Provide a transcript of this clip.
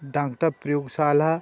doctor प्रयोगशाला --